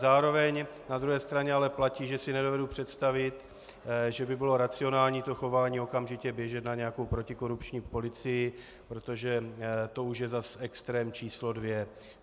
Zároveň na druhé straně ale platí, že si nedovedu představit, že by bylo racionální to chování okamžitě běžet na nějakou protikorupční policii, protože to už je zase extrém číslo dvě.